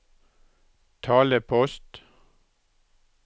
talepost